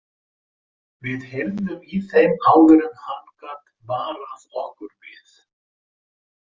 Við heyrðum í þeim áður en hann gat varað okkur við.